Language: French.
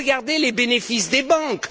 Regardez les bénéfices des banques!